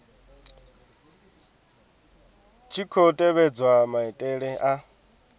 tshi khou tevhedzwa maitele a